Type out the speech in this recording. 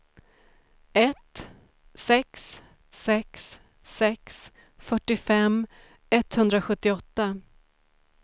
ett sex sex sex fyrtiofem etthundrasjuttioåtta